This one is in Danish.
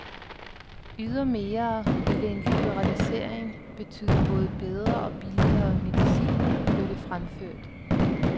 Ydermere ville en liberalisering betyde både bedre og billigere medicin, blev det fremført.